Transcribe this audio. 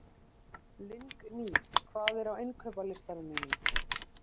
Lingný, hvað er á innkaupalistanum mínum?